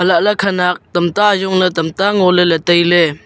elah ley khanak tam ta a ajong le ley tam ta a ngo ley tai ley.